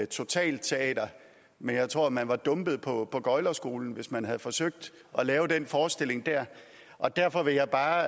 totalteater men jeg tror at man var dumpet på gøglerskolen hvis man havde forsøgt at lave den forestilling der derfor vil jeg bare